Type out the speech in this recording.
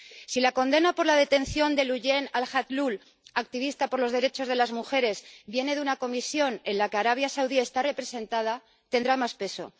Si la condena por la detención de Loujain Alhathloul, activista por los derechos de las mujeres, viene de una comisión en la que Arabia Saudí está representada, tendrá más peso.